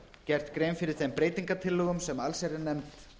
gert grein fyrir þeim breytingartillögum sem allsherjarnefnd